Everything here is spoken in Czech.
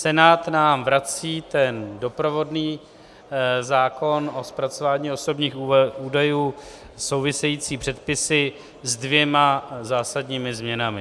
Senát nám vrací ten doprovodný zákon o zpracování osobních údajů, související předpisy, s dvěma zásadními změnami.